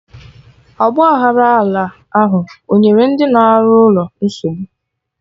Ọgba aghara ala ahụ o nyere ndị na arụ ụkọ nsogbu?